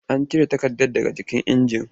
Cire takardar daga jikin injin!